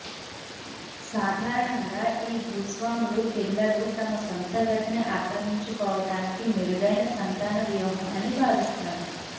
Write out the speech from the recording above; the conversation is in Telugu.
సాధారణంగా ఈ భూస్వాములు పిల్లలు తమ సొంత గదిని ఆక్రమించుకోవటానికి మెరుగైన సంతాన వ్యూహం అని భావిస్తారు